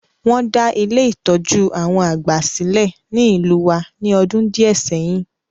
Won da Ile-itọju àwon àgbà silẹ̀ ni ìlú wa ni ọdún díẹ̀ sẹyin.